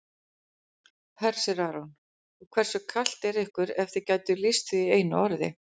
Hersir Aron: Og hversu kalt er ykkur ef þið gætuð lýst því í einu orði?